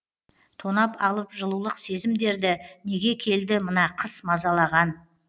тонап алып жылулық сезімдерді неге келді мына қыс мазалаған